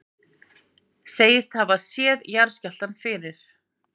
Segist hafa séð jarðskjálftann fyrir